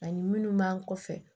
Ani minnu b'an kɔfɛ